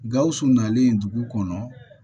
Gawusu nalen dugu kɔnɔ